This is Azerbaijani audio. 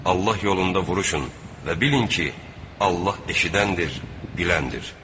Allah yolunda vuruşun və bilin ki, Allah eşidəndir, biləndir.